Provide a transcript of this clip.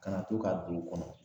Ka na to ka don u kɔnɔ